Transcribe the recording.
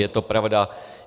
Je to pravda.